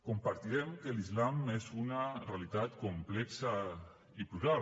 compartirem que l’islam és una realitat complexa i plural